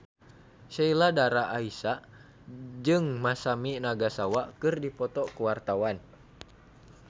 Sheila Dara Aisha jeung Masami Nagasawa keur dipoto ku wartawan